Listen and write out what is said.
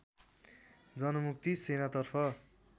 जनमुक्ति सेनातर्फ